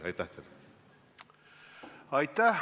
Aitäh!